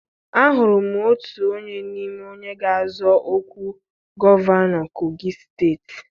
Ahụrụ m otu onye n'ime onye ga-azọ ọkwa gọvanọ Kogi steeti